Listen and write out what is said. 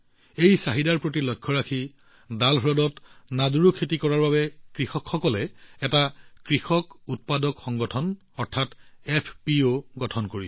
এই চাহিদাৰ পৰিপ্ৰেক্ষিতত ডাল হ্ৰদত নাদ্ৰু খেতি কৰা কৃষকসকলে এটা এফপিঅ গঠন কৰিছে